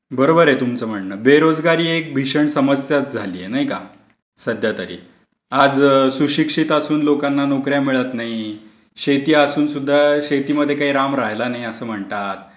बरोबर आहे तुमचं म्हणणं. बेरोजगारी एक भीषण समस्याच झाली आहे, नाही का? सध्यातरी. आज सुशिक्षित असून लोकांना नोकर् या मिळत नाहीत. शेती असूनसुद्धा शेतीमध्ये काही राम राहिला नाही, असं म्हणतात.